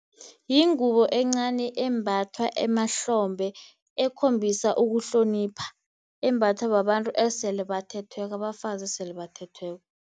Yingubo encani embathwa emahlombe ekhombisa ukuhlonipha, embathwa babantu esele bathethweko, abafazi esele bathethweko.